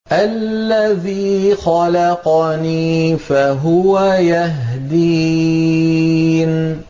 الَّذِي خَلَقَنِي فَهُوَ يَهْدِينِ